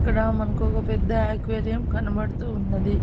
ఇక్కడ మనకు ఒక పెద్ద అక్వేరియం కనబడుతూ ఉన్నది.